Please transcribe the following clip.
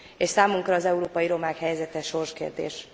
És számunkra az európai romák helyzete sorskérdés.